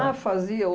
fazia